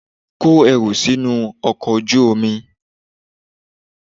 Kó ẹrù sínú ọkọ̀ ojú omi!